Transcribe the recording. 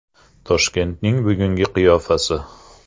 Toshkentning bugungi qiyofasi.